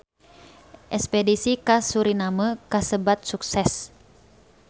Espedisi ka Suriname kasebat sukses